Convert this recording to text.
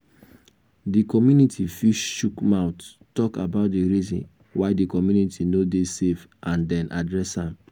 di community fit chook mouth talk about di reason why di community no dey safe and then address am